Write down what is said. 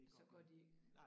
Så går de